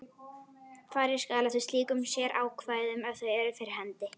Farið skal eftir slíkum sérákvæðum ef þau eru fyrir hendi.